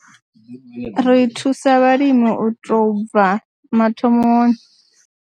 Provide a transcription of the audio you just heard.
Ri thusa vhalimi u tou bva mathomoni.